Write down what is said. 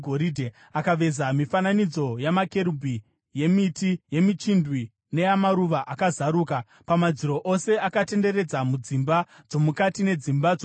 Akaveza mifananidzo yamakerubhi, yemiti yemichindwe neyamaruva akazaruka, pamadziro ose akatenderedza mudzimba dzomukati nedzimba dzokunze.